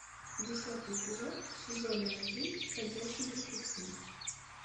десятый эпизод сезона один ходячие мертвецы